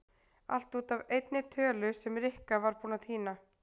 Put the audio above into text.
Allt út af einni tölu sem Rikka var búin að týna.